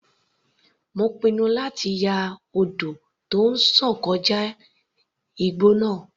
Mo pinnu láti ya odò tó ń sàn kọjá igbó náà.